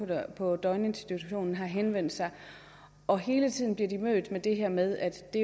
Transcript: på døgninstitutionen har henvendt sig og hele tiden bliver de mødt med det her med at det